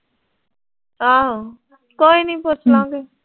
ਆਹੋ ਕੋਈ ਨੀਂ ਪੁੱਛਲਾਂ ਗੇ